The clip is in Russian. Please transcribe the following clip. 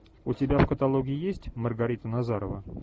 у тебя в каталоге есть маргарита назарова